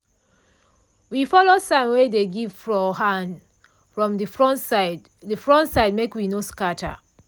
we follow sign wey dey give for hand from de front side de front side make we no scatter.